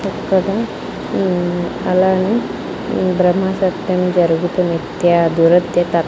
ఇక్కడ ఉమ్ అలాగే ఉమ్ బ్రహ్మసత్యం జరుగుతున్న నిత్య దురత్యత --